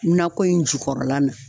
Nakɔ in jukɔrɔla na.